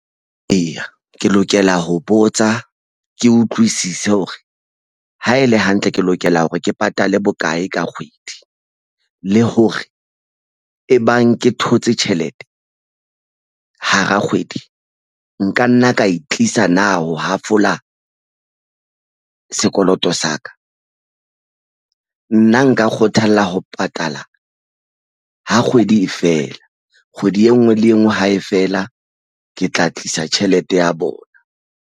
Eya, ke lokela ho botsa ke utlwisise hore ha ele hantle ke lokela hore ke patale bokae ka kgwedi le hore e bang ke thotse tjhelete hara kgwedi nka nna ka e tlisa na ho hafola sekoloto sa ka nna nka kgothalla ho patala ha kgwedi e fela kgwedi e nngwe le engwe hae fela ke tla tlisa tjhelete ya bona.